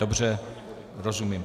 Dobře, rozumím.